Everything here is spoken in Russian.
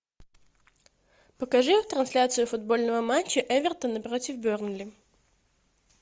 покажи трансляцию футбольного матча эвертона против бернли